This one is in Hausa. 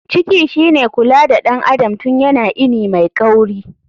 Ciki shine kula da ɗan adam tun yana ini mai kauri.